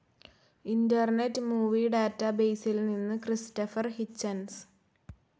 internet Movie ഡാറ്റാബേസിൽ നിന്ന് Christopher Hitchens